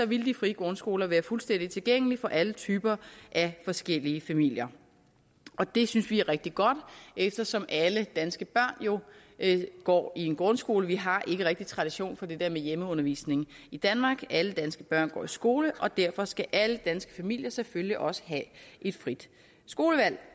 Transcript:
ville de frie grundskoler være fuldstændig tilgængelige for alle typer af forskellige familier det synes vi er rigtig godt eftersom alle danske børn jo går i en grundskole vi har ikke rigtig tradition for det der med hjemmeundervisning i danmark alle danske børn går i skole og derfor skal alle danske familier selvfølgelig også have et frit skolevalg